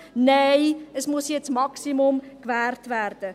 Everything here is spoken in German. Nein, es muss jetzt das Maximum gewährt werden.